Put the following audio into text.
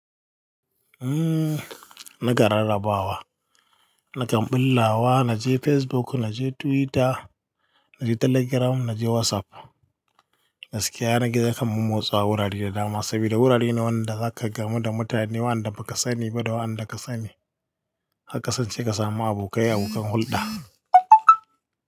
Umm, na ga rarrabawa, na kam bullawa, na je Facebook, na je Twitter, na je Telegram, na je WhatsApp. Gaskiya na ga zaka mommo tsawa wurare da dama saboda wurare ne wanda zaka gamu da mutane, wanda baka sani ba da wanda ka sani. Haka san ce ka samu abokai abokan hulɗa.